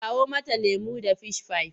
Kawo mata lemo da fishifai!